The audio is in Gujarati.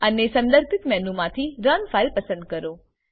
અને સંદર્ભીત મેનુ માંથી રન ફાઇલ પસંદ કરો